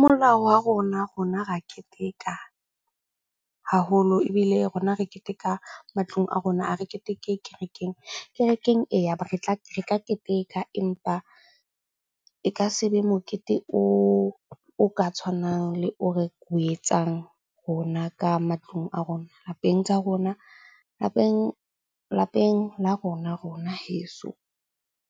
Molao wa rona, rona re a keteka haholo. Ebile rona re keteka matlung a rona, a re keteke kerekeng. Kerekeng eya, re keteka, empa e ka se be mokete o ka tshwanang le o re o etsang rona ka matlung a rona. Lapeng tsa rona lapeng la rona, rona heso.